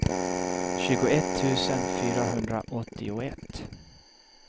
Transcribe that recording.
tjugoett tusen fyrahundraåttioett